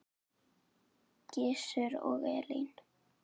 Gizur og Elín.